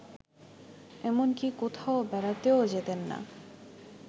এমনকি কোথাও বেড়াতেও যেতেন না